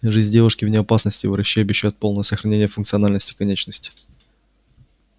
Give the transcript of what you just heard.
жизнь девушки вне опасности врачи обещают полное сохранение функциональности конечности